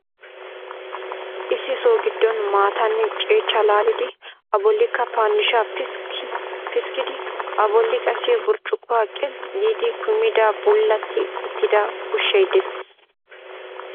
Issi so gidon maattanne ceeccaa laalidi a bolikka pandiishshaa piskidi a boli qassi burccukkuwaa qilxxi giidi kumida bullatti uttida ushshay dees.